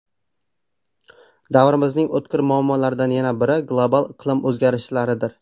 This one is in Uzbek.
Davrimizning o‘tkir muammolaridan yana biri – global iqlim o‘zgarishlaridir.